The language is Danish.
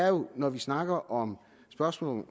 jo når vi snakker om spørgsmålet